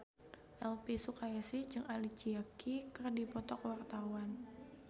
Elvi Sukaesih jeung Alicia Keys keur dipoto ku wartawan